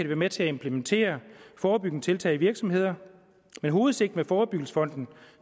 være med til at implementere forebyggende tiltag i virksomheder men hovedsigtet med forebyggelsesfonden